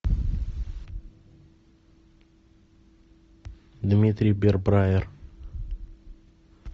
дмитрий бирбраер